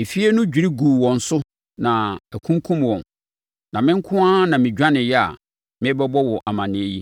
Efie no dwiri guu wɔn so na akunkum wɔn, na me nko ara na medwaneeɛ a merebɛbɔ wo amaneɛ yi.”